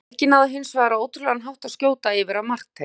Helgi náði hins vegar á ótrúlegan hátt að skjóta yfir af markteig.